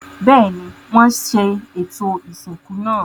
Bẹ́ẹ̀ni, wọ́n ṣe ètò ìsìnkú náà.